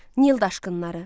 Nil daşqınları.